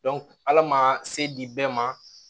ala ma se di bɛɛ ma